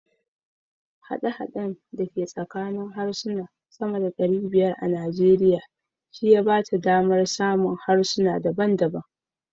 Haɗe-haɗen da ke tsakanin harsuna sama da ɗari bayar a Najeriya shi ya ba ta damar samun harsuna daban daban.